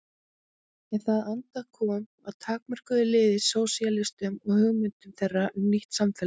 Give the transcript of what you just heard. En það andóf kom að takmörkuðu liði sósíalistum og hugmyndum þeirra um nýtt samfélag.